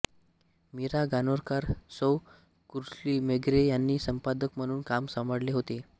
मीरा गणोरकर सौ कुल्श्री मेघरे यांनी संपादक म्हणून काम सांभाळले होते